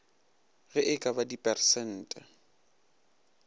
ge e ka ba dipersente